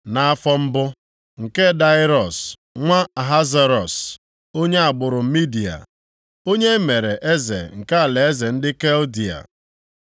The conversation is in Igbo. Nʼafọ mbụ, nke Daraiọs nwa Ahasuerọs (onye agbụrụ Midia), onye e mere eze nke alaeze ndị Kaldịa,